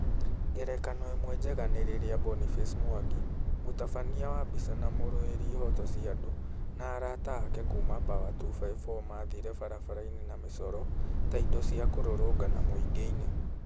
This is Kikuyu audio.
Ngerekano ĩmwe njega nĩ rĩrĩa Boniface Mwangi, mũtabania wa mbicha na mũrũĩri ihooto cia andũ, na araata ake kuuma Pawa254 maathire barabara-inĩ na mĩcoro ta indo cia kũrũrũngana mũingĩ-inĩ.